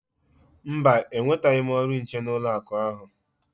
Mba, enwetaghị m ọrụ nche n'ụlọakụ ahụ.